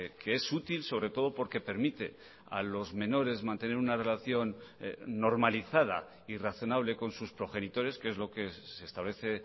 que es útil sobre todo porque permite a los menores mantener una relación normalizada y razonable con sus progenitores que es lo que se establece